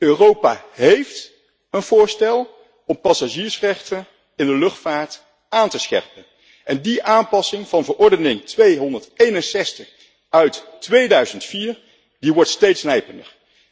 Europa heeft een voorstel om passagiersrechten in de luchtvaart aan te scherpen en die aanpassing van Verordening nr. 261 uit 2004 wordt steeds nijpender.